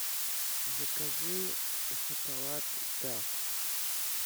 закажи шоколад дав